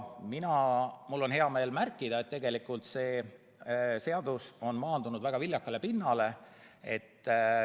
Mul on hea meel märkida, et tegelikult on see seadus maandunud väga viljakale pinnale.